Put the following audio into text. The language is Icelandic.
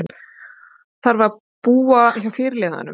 Þarf að búa hjá fyrirliðanum